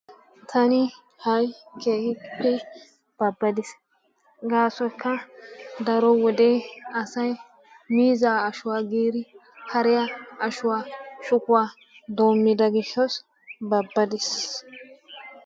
Taani hayi keehippe babbaddiis gaasoykka daro wodee asay miizzaa ashuwa giidi hariya ashuwa shukkuwa doommida gishshawu babbaddiis.